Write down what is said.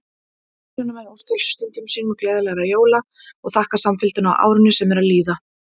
Umsjónarmenn óska hlustendum sínum gleðilegra jóla og þakka samfylgdina á árinu sem er að líða!